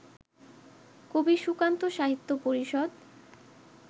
কবি সুকান্ত সাহিত্য পরিষদ